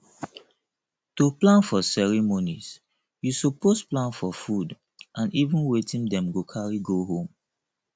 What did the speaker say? to plan for ceremonies you suppose plan for food and even wetin dem go carry go home